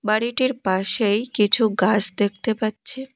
বাড়িটির পাশেই কিছু গাস দেখতে পাচ্ছে।